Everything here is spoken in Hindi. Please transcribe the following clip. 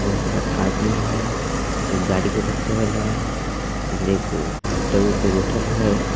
बहुत सारा आदमी है एक गाड़ी के ऊपर चघल है इधर एक टेबुल पर बैठल है।